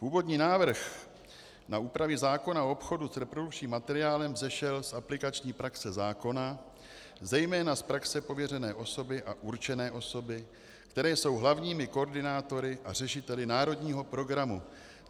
Původní návrh na úpravy zákona o obchodu s reprodukčním materiálem vzešel z aplikační praxe zákona, zejména z praxe pověřené osoby a určené osoby, které jsou hlavními koordinátory a řešiteli národního programu.